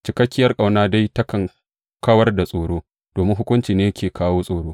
Cikakkiyar ƙauna dai takan kawar da tsoro, domin hukunci ne yake kawo tsoro.